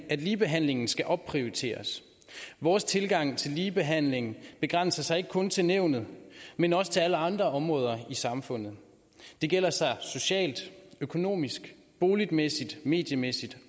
at ligebehandlingen skal opprioriteres vores tilgang til ligebehandling begrænser sig ikke kun til nævnet men også til alle andre områder i samfundet det gælder socialt økonomisk boligmæssigt mediemæssigt